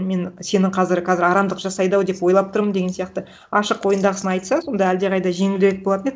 мен сені қазір арамдық жасайды ау деп ойлап тұрмын деген сияқты ашық ойындағысын айтса сонда әлдеқайда жеңілірек болатын еді